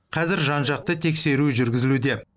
қазір жан жақты тексеру жүргізілуде